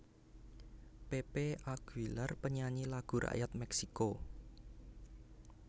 Pepe Aguilar panyanyi lagu rakyat Meksico